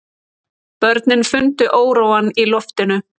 Börnin fundu óróann í loftinu.